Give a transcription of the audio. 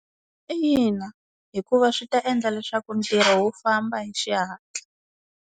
Ina hikuva swi ta endla leswaku ntirho wu famba hi xihatla.